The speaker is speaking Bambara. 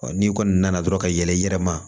n'i kɔni nana dɔrɔn ka yɛlɛ i yɛrɛ ma